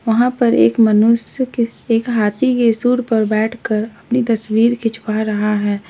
वहां पर एक मनुष्य के एक हाथी के सूंड पर बैठकर अपनी तस्वीर खिंचवा रहा है।